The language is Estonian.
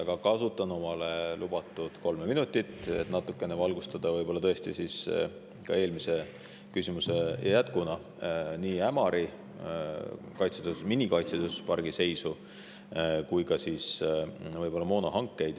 Aga kasutan mulle lubatud kolme minutit, et natukene valgustada ka eelmise vastuse jätkuna nii Ämari minikaitsetööstuspargi seisu kui ka moonahankeid.